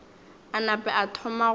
a nape a thome go